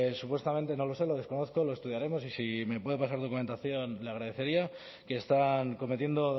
supuestamente no lo sé lo desconozco lo estudiaremos y si me puede pasar documentación le agradecería que están cometiendo